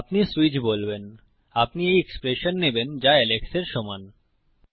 আপনি সুইচ বলবেন আপনি এই এক্সপ্রেশন নেবেন যা এলেক্সের সমান